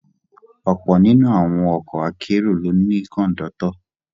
Ọ̀pọ̀ nínú àwọn ọkọ akérò ló ní Kọ̀ńdọ́tọ̀